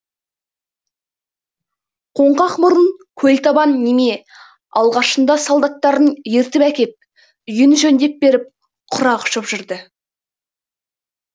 қоңқақ мұрын көл табан неме алғашында солдаттарын ертіп әкеп үйін жөндеп беріп құрақ ұшып жүрді